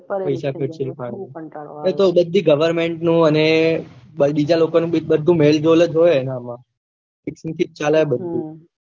પેસા ખર્ચે એ પાણી માં બધીજ government નું અને બીજા લોકો નું ભી મેલ હોય એના માં